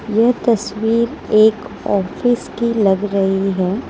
यह तस्वीर एक ऑफिस की लग रही है।